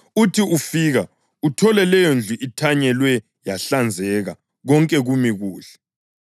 Uthi ufika, uthole leyondlu ithanyelwe yahlanzeka konke kumi kuhle.